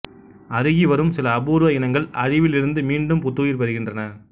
அருகிவரும் சில அபூர்வ இனங்கள் அழிவிலிருந்து மீண்டும் புத்துயிர் பெறுகின்றன